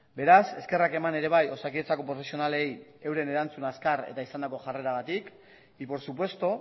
beraz eskerrak eman ere bai osakidetzako profesionalei euren erantzun azkar eta izandako jarreragatik y por supuesto